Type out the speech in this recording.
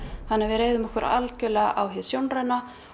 þannig að við reiðum okkur algjörlega á hið sjónræna